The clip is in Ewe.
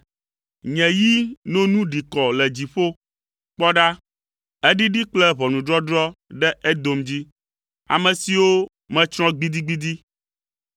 Nye yi no nu ɖi kɔ le dziƒo. Kpɔ ɖa eɖiɖi kple ʋɔnudɔdrɔ̃ ɖe Edom dzi; ame siwo metsrɔ̃ gbidigbidi.